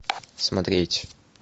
смотреть